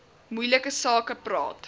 moeilike sake praat